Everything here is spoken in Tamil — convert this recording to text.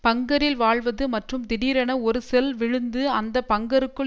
பங்கரில் வாழ்வது மற்றும் திடீரென ஒரு செல் விழுந்து அந்த பங்கருக்குள்